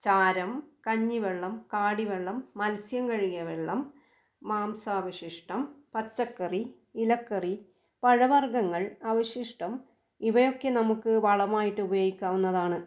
ചാരം, കഞ്ഞിവെള്ളം, കാടിവെള്ളം, മത്സ്യം കഴുകിയ വെള്ളം, മാംസവശിഷ്ടം, പച്ചക്കറി, ഇലക്കറി, പഴവർഗ്ഗങ്ങൾ, അവശിഷ്ടം ഇവയൊക്കെ നമുക്ക് വളമായിട്ട് ഉപയോഗിക്കാവുന്നതാണ്.